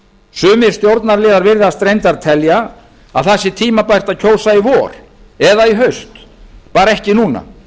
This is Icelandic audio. sumir stjórnarliðar virðast reyndar telja að tímabært sé að kjósa í vor eða í haust bara ekki núna